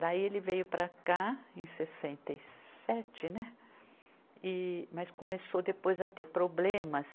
Daí ele veio para cá em sessenta e sete, né, mas começou depois a ter problemas.